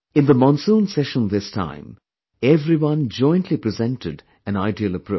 In the Monsoon session, this time, everyone jointly presented an ideal approach